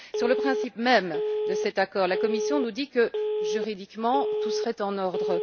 Sur le principe même de cet accord, la Commission nous dit que, juridiquement, tout serait en ordre.